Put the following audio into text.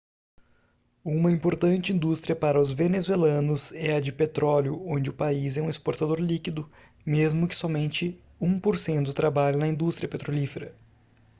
uma importante indústria para os venezuelanos é a de petróleo onde o país é um exportador líquido mesmo que somente um por cento trabalhe na indústria petrolífera